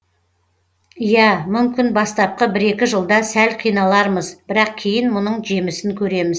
иа мүмкін бастапқы бір екі жылда сәл қиналармыз бірақ кейін мұның жемісін көреміз